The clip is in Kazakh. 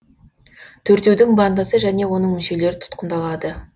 төртеудің бандасы және оның мүшелері тұтқындалады